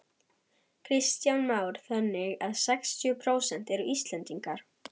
Kristján Már: Þannig að sextíu prósent eru Íslendingar?